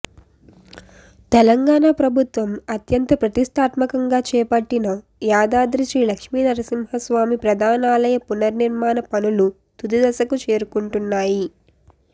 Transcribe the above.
తెలంగాణ ప్రభుత్వం అత్యంత ప్రతిష్ఠాత్మకంగా చేపట్టిన యాదాద్రి శ్రీలక్ష్మీనరసింహస్వామి ప్రధానాలయ పునర్నిర్మాణ పనులు తుది దశకు చేరుకుంటున్నాయి